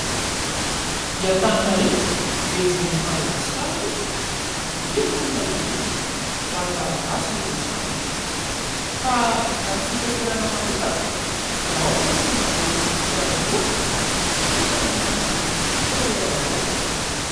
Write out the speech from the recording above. I Antananarivo Renivohitr'i Madagasikara moa no be mponina indrindra, raha ny Malagasy no resahana. Ka raha ny fitaterana manokana, dia ao ireo tia mandeha kodiarandroa, misy kosa ny miandry fitateram-bahoaka.